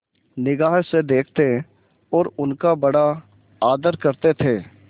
निगाह से देखते और उनका बड़ा आदर करते थे